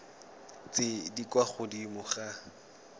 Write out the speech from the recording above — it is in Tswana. tse di kwa godimo ga